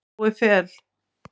Jói Fel.